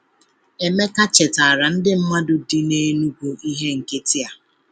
Emeka chetara ndị mmadụ dị na Enugu ihe nkịtị a.